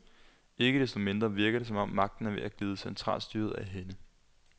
Ikke desto mindre virker det, som om magten er ved at glide centralstyret af hænde.